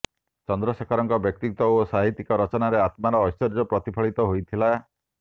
ଚନ୍ଦ୍ରଶେଖରଙ୍କ ବ୍ୟକ୍ତିତ୍ବ ଓ ସାହିତ୍ୟିକ ରଚନାରେ ଆତ୍ମାର ଐଶ୍ବର୍ଯ୍ୟ ପ୍ରତିଫଳିତ ହୋଇଥିଲା